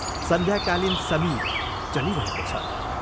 सन्ध्याकालीन समीर चलिरहेको छ।